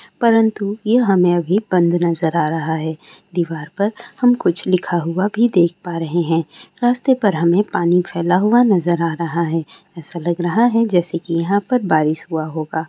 परंतु यह हमें अभी बंद नजर आ रहा है। दीवार पर हम कुछ लिखा हुआ भी देख पा रहें हैं। रास्ते पर हमें पानी फैला हुआ नजर आ रहा है। ऐसा लग रहा है जैसे कि यहाँ पर बारिश हुआ होगा।